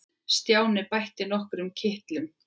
Stjáni bætti við nokkrum kitlum.